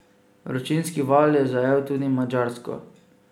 Vročinski val je zajel tudi Madžarsko.